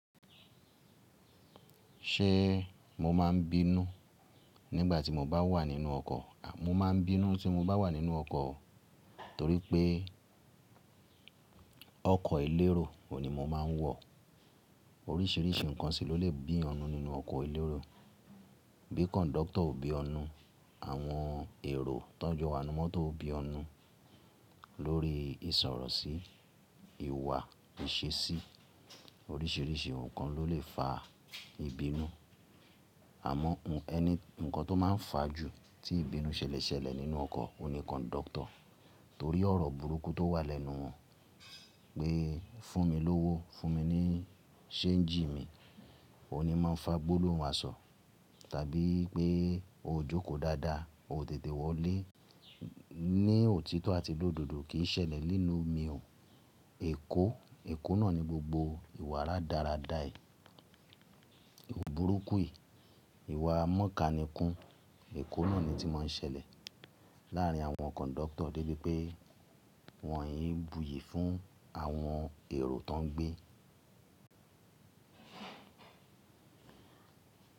Ṣé mo má a ń bínú nígbà tí mo bá wà nínú ọkọ̀? Mo máa ń bínú tí mo bá wà nínú ọkọ̀ torí pé ọkọ elérò òun ní mo máa ń wọ̀. Oríṣiríṣi nǹkan sì ló lè bí èèyàn nnu nínú ọkọ elérò. Bí conductor o bí ọnu, àwọn èrò tọ́n jo wa ninu mọ́tò ó bí n nu lórí ìsọ̀rọ̀ sí ìwà ìṣesí. Oríṣiríṣi nǹkan ló lè fa ìbínú. Àmọ́, eni- ǹkan tó máa ń fa ju tí ìbínú ṣẹlẹ̀ ṣẹlẹ̀ nínú ọkọ̀ oun ni conductor torí ọ̀rọ̀ burúkú tó wà lẹ́nu wọn pé fún mi lówó, fún mi ní ṣéńjì mi. Óhun ní màá ń fa gbólóhùn aṣọ tàbí pé o jókòó dáadáa, o tètè wọlé. Ni òtítọ́ àti lòdodo kì í ṣẹlẹ̀ nílùú mi o. Èkó, èkó náà ni gbogbo ìwà rádarádà yìí. Burúkú yìí, ìwà mọ́kadìkun, èkó náà ni tí mọ́ ń ṣẹlẹ̀ láàárín àwọn cọńductor débi pé wọ́n kii n búyì fún àwọn èrò tán gbé.